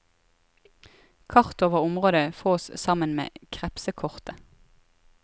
Kart over området fås sammen med krepsekortet.